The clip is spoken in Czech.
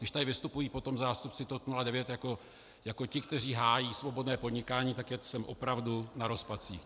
Když tady vystupují potom zástupci TOP 09 jako ti, kteří hájí svobodné podnikání, tak jsem opravdu na rozpacích.